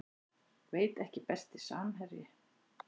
Veit ekki Besti samherji?